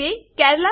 તે કેરલા